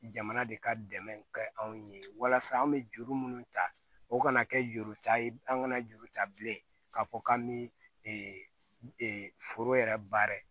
Jamana de ka dɛmɛ kɛ anw ye walasa an bɛ juru minnu ta o kana kɛ juru ca ye an ka na juru ta bilen k'a fɔ k'an bi foro yɛrɛ baara